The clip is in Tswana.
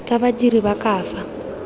tsa badiri ba ka fa